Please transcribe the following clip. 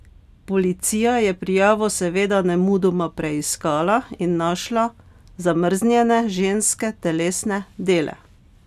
Policija je prijavo seveda nemudoma preiskala in našla zamrznjene ženske telesne dele.